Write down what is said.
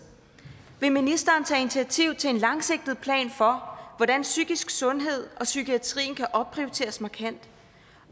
vil ministeren tage initiativ til en langsigtet plan for hvordan psykisk sundhed og psykiatrien kan opprioriteres markant